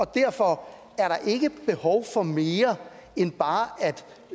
derfor ikke behov for mere end